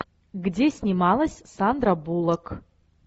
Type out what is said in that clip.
где снималась сандра буллок